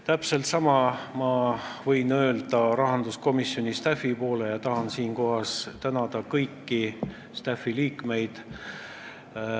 Täpselt sama võin öelda rahanduskomisjoni staff'i kohta ja tahan siinkohal tänada kõiki selle liikmeid.